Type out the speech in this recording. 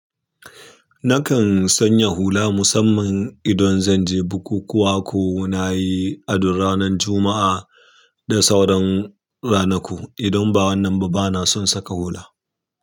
Nakan sanya hula musamman idan zanje bukukuwa ko nayi ado ranar juma'a da sauran ranaku idan ba wannan ba bana son saka hula.